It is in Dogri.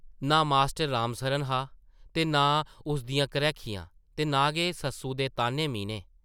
नां मास्टर रामसरन हा ते नां उस दियां घ्रैखियां ते नां गै सस्सु दे ताह्न्ने-मीह्ने ।